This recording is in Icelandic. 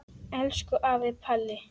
Elsku afi Palli.